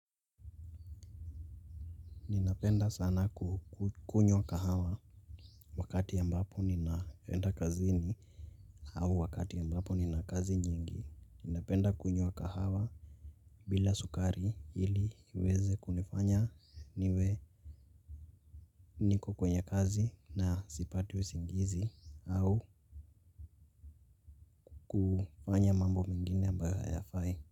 NI ninapenda sana kukunywa kahawa wakati ambapo ninaenda kazini au wakati ambapo nina kazi nyingi. Ninapenda kunywa kahawa bila sukari ili iweze kunifanya niwe niko kwenye kazi na sipati usingizi au kufanya mambo mengine ambayo hayafai.